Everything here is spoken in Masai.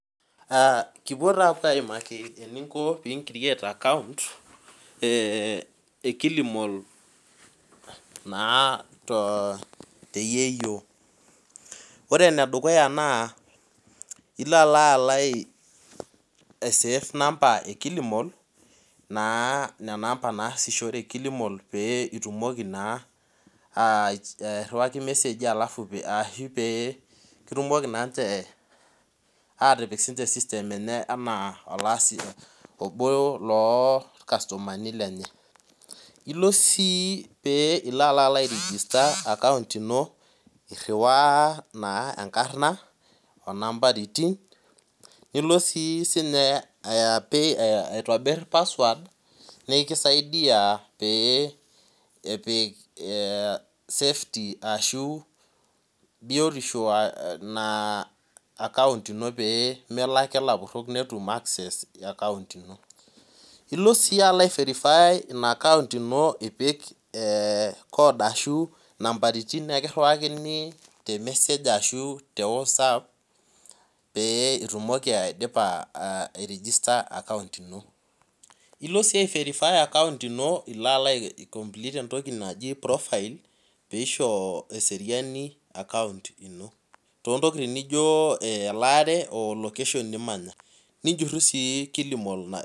Aa kipuo aimaki eninko pei in create account ekilimall naa teyieyio ore enedukuya na ilo aisafe namba ekilimal naasishorekili mal pitumoki airiwaki irmeseji pekitumoki sinche atipik system enye anaa olaasi lenye obo lorkastomani lenye iriwaa naa enkarna onambaritin nilo si airiwaa password naekisaidia peyie epik biotisho ina akount ino pemetum lapurok nekiriwakini memesek peitumiki ai register account ino ilo si ai verify account ino iko ai complete profile pisho eseriani akount ino tontokitin nijo elaare o location nimanya nijuruu si kilimal na